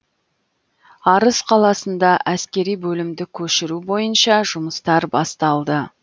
арыс қаласында әскери бөлімді көшіру бойынша жұмыстар басталды